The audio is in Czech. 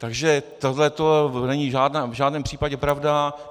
Takže tohle není v žádném případě pravda.